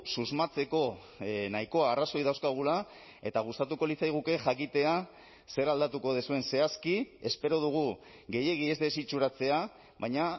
susmatzeko nahikoa arrazoi dauzkagula eta gustatuko litzaiguke jakitea zer aldatuko duzuen zehazki espero dugu gehiegi ez desitxuratzea baina